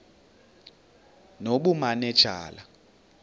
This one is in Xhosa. nobumanejala